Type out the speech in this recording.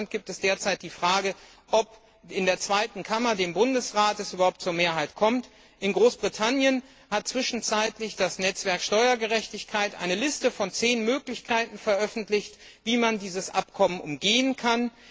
In Deutschland ist derzeit fraglich, ob es in der zweiten Kammer, dem Bundesrat, überhaupt zu einer Mehrheit kommt, in Großbritannien hat zwischenzeitlich das Netzwerk Steuergerechtigkeit eine Liste von zehn Möglichkeiten veröffentlicht, wie man dieses Abkommen umgehen kann.